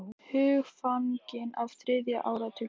Hugfangin af þriðja áratugnum